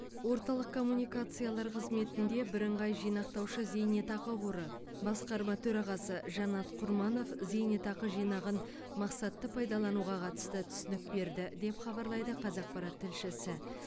орталық коммуникациялар қызметінде бірыңғай жинақтаушы зейнетақы қоры басқарма төрағасы жанат құрманов зейнетақы жинағын мақсатты пайдалануға қатысты түсінік берді деп хабарлайды қазақпарат тілшісі